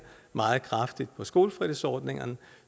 meget kraftigt på skolefritidsordningerne